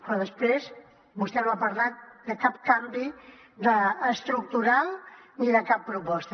però després vostè no ha parlat de cap canvi estructural ni de cap proposta